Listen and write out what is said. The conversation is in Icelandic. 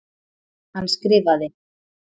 Hann skrifaði: